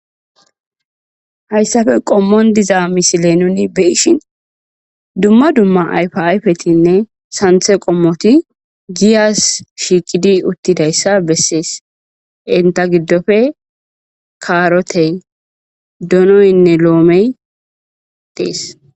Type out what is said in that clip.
Hayssafe qommon diza misile nuni beyishin dumma dumma ayfi ayfetinne santhe qommoti giyas shiiqidi uttidayssa bessees inta giddofe kaarote donoynne loomey dees.